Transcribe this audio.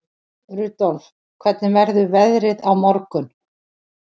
Rudolf, hvernig verður veðrið á morgun?